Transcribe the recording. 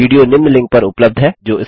video निम्न link पर उपलब्ध है